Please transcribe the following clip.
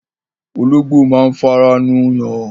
Ológbò máa ń fara nù yàn